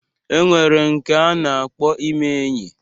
E nwere nke a na-akpọ ime enyi.